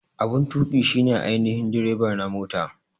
Abun tuƙi shi ne ainihin direba na mota.